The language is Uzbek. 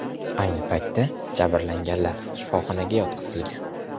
Ayni paytda jabrlanganlar shifoxonaga yotqizilgan.